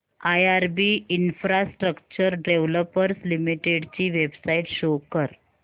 IRB infrastructure developers limited ची website show करा